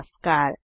नमस्कार